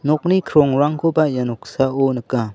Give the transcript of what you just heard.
nokni krongrangkoba ia noksao nika.